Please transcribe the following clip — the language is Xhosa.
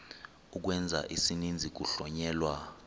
ukwenza isininzi kuhlonyelwa